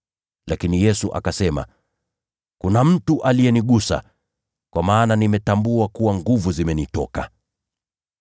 Lakini Yesu akasema, “Kuna mtu aliyenigusa, kwa maana nimetambua kuwa nguvu zimenitoka.”